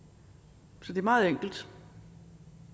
så det er meget enkelt